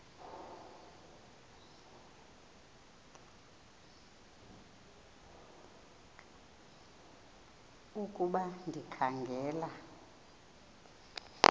ukuba ndikha ngela